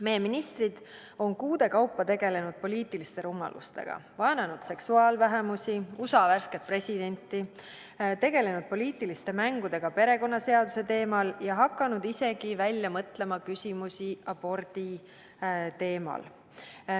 Meie ministrid on kuude kaupa tegelenud poliitiliste rumalustega – vaenanud seksuaalvähemusi ja USA värsket presidenti, tegelenud poliitiliste mängudega perekonnaseaduse teemal ja hakanud isegi välja mõtlema küsimusi abordi teemal.